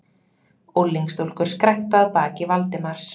Unglingsstúlkur skræktu að baki Valdimars.